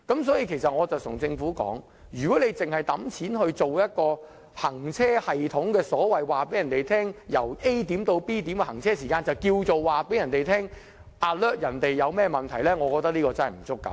所以，我對政府說，如果只是花錢安裝一個行車系統，告訴市民由 A 點到 B 點的行車時間，便當作向市民發出預警，令他們知道發生問題，我覺得這並不足夠。